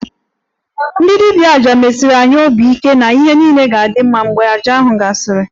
Ndị dibia 'aja' mesiri anyị obi ike na ihe niile ga-adị mma mgbe àjà ahụ gasịrị